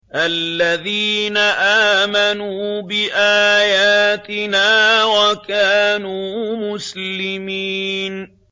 الَّذِينَ آمَنُوا بِآيَاتِنَا وَكَانُوا مُسْلِمِينَ